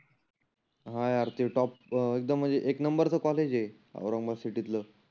हा यार ते टॉप अं एकदम म्हणजे एक नंबरच कॉलेज आहे. औरंगाबाद सिटीतल.